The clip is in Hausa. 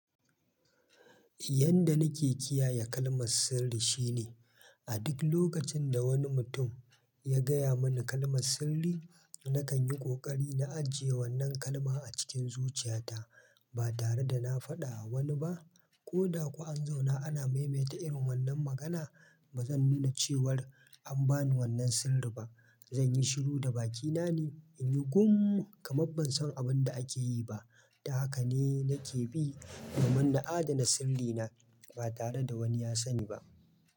Yanda nake kiyaye kalmar sirri shine, a duk lokacin da wani mutum ya gaya mani kalmar sirri, nakan yi ƙoƙari na ajiye wannan kalma a cikin zuciyata ba tare da na faɗa wa wani ba. Ko da kuwa an zauna ana maimaita irin wannan magana, bazan nuna cewar an bani wannan sirri ba. Zanyi shiru da bakina ne, in yi gun ka mabban san abin da ake yi ba. Ta haka ne nake bi domin na adana sirrina ba tare da wani ya sani ba.